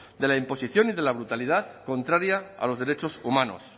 de la imposición y de la brutalidad contraria a los derechos humanos